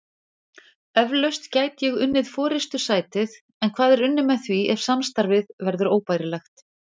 Eflaust gæti ég unnið forystusætið en hvað er unnið með því ef samstarfið verður óbærilegt?